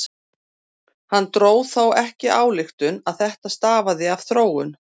Hann dró þó ekki þá ályktun að þetta stafaði af þróun.